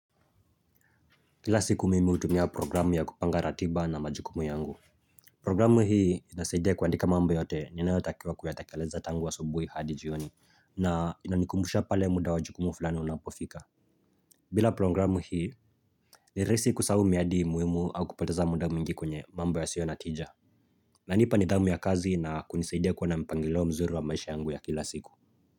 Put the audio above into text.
Kila siku mimi hutumia programu ya kupanga ratiba na majukumu yangu Programu hii inasaidia kuandika mambo yote ninaotakiwa kuyatekeleza tangu asubuhi hadi jioni na inanikumbusha pale muda wa jukumu fulani unapofika bila programu hii ni rahisi kusahau miadi muhimu au kupoteza muda mingi kwenye mambo yasio na tija inanipa nidhamu ya kazi na kunisaidia kuona mpangilio mzuri wa maisha yangu ya kila siku.